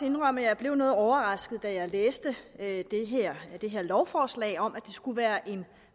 indrømme at jeg blev noget overrasket da jeg læste det her lovforslag om at det skulle være en